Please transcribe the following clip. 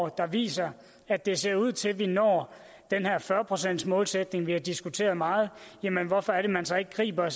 der viser at det ser ud til vi når den her fyrre procentsmålsætning vi har diskuteret meget hvorfor man så ikke griber